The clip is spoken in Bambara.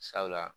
Sabula